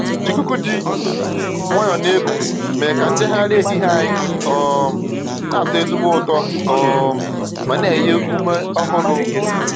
Ikuku ji nwayọọ na-eku mere ka njegharị ehihie anyị um na-atọ ezigbo ụtọ um ma na-enye ume ọhụrụ.